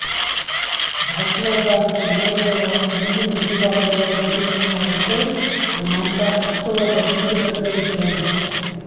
జాఘవాగారి పిల్లలు కూడ తండ్రి అడుగుజాడల్లో నడుస్తున్నారంటే మనమంతా ఎంతో గర్వించతగ్గ విషయం